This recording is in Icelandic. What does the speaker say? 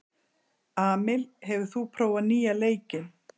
Amil, hefur þú prófað nýja leikinn?